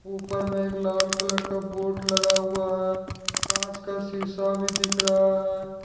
ऊपर में एक लाल कलर का बोर्ड लगा हुआ है कांच का शीशा भी दिख रहा है।